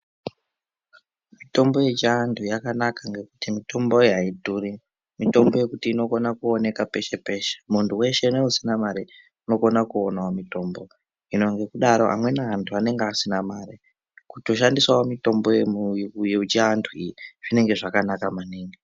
Mitombo yechiandu yakanaka ngekuti mitombo iyi aidhuri. Mitombo yekuti inokona kuoneka peshe peshe muntu weshe neusina mari unokona kuonawo mutombo, hino ngekudaro amweni antu anenge asina mare kutoshandisawo mitombo yechiantu iyi zvinenge zvakanaka maningi.